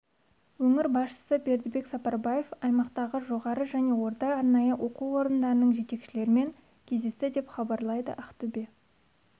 өңір басшысы бердібек сапарбаев аймақтағы жоғары және орта арнайы оқу орындарының жетекшілерімен кездесті деп хабарлайды ақтөбе